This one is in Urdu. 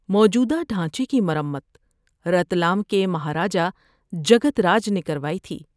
موجودہ ڈھانچے کی مرمت رتلام کے مہاراجہ جگت راج نے کروائی تھی۔